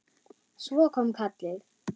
Svo kom kallið.